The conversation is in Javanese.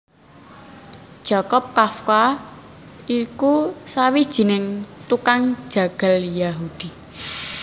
Jakob Kafka iku sawijining tukang jagal Yahudi